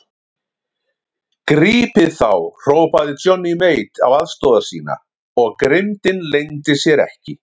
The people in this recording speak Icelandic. Grípið þá hrópaði Johnny Mate á aðstoðarmenn sína og grimmdin leyndi sér ekki.